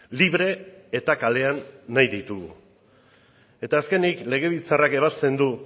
libre eta kalean nahi ditugu eta azkenik legebiltzarrak ebazten du